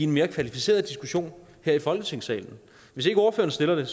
mere kvalificeret diskussion her i folketingssalen hvis ikke ordføreren stiller